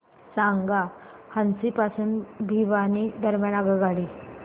सांगा हान्सी पासून भिवानी दरम्यान आगगाडी